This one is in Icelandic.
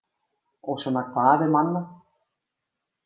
Og svona hvað um annað: